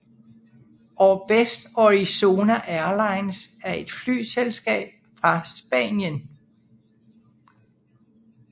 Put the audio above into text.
Orbest Orizonia Airlines er et flyselskab fra Spanien